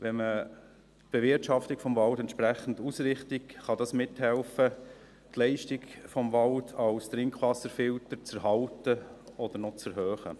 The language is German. Wenn man die Bewirtschaftung des Waldes entsprechend ausrichtet, kann dies mithelfen, die Leistung des Waldes als Trinkwasserfilter zu erhalten oder noch zu erhöhen.